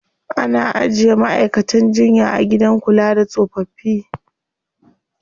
Ana ajiye ma'aikatan jinya a gidan kula da tsofaffi.